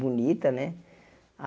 Bonita, né?